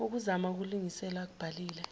ukuzama ukuzilungisela akubhalile